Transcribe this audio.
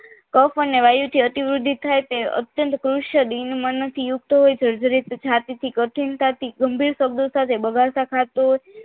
cup અને વાયુ અતિ વૃદ્ધિ થાય તે અત્યંત કૃશિયલ મનયુક્ત હોય સર્જરી તથા તેથી કઠિનતાથી ગંભીરતા થી બગાસો ખાતો હોય